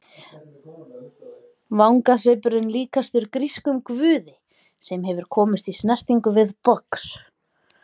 Vangasvipurinn líkastur grískum guði sem hefur komist í snertingu við box.